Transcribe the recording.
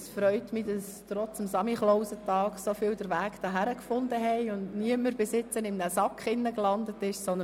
Es freut mich, dass trotz des Nikolaustages so viele den Weg hierher gefunden haben und nicht in einem Sack gelandet sind.